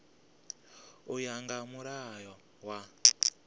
u ya nga mulayo wa